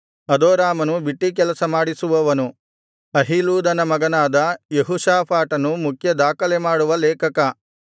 ಅದೋರಾಮನು ಬಿಟ್ಟೀಕೆಲಸ ಮಾಡಿಸುವವನು ಅಹೀಲೂದನ ಮಗನಾದ ಯೆಹೋಷಾಫಾಟನು ಮುಖ್ಯ ದಾಖಲೆಮಾಡುವ ಲೇಖಕ